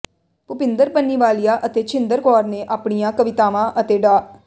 ਭੁਪਿੰਦਰ ਪੰਨੀਵਾਲੀਆ ਅਤੇ ਛਿੰਦਰ ਕੌਰ ਨੇ ਆਪਣੀਆਂ ਕਵਿਤਾਵਾਂ ਅਤੇ ਡਾ